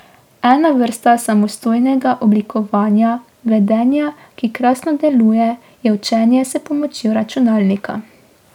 Ena vrsta samostojnega oblikovanja vedenja, ki krasno deluje, je učenje s pomočjo računalnika.